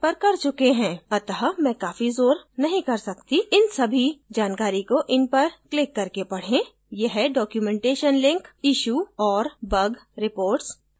अत: मैं काफी जोर नहीं कर सकता इन सभी जानकारी को इन पर क्लिक करके पढें यह documentation लिंक issue और bug reports